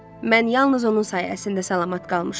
Mən yalnız onun sayəsində salamat qalmışam.